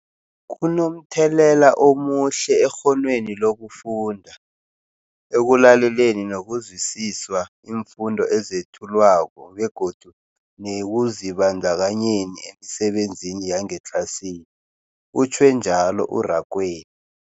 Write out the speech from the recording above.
Kunomthelela omuhle ekghonweni lokufunda, ekulaleleni nokuzwisiswa iimfundo ezethulwako begodu nekuzibandakanyeni emisebenzini yangetlasini, utjhwe njalo u-Rakwena.